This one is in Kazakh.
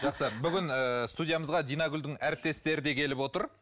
жақсы бүгін ыыы студиямызға динагүлдің әріптестері де келіп отыр